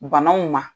Banaw ma